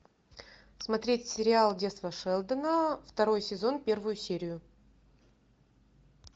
смотреть сериал детство шелдона второй сезон первую серию